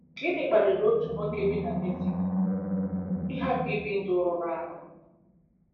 Gịnị kpaliri otu nwoke bi na Mexico ịhapụ ibi ndụ rụrụ arụ?